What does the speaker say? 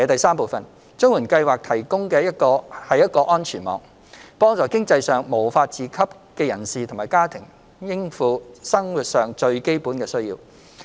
三綜援計劃提供一個安全網，幫助經濟上無法自給的人士及家庭應付生活上最基本的需要。